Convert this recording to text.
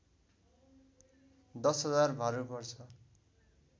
१० हजार भारु पर्छ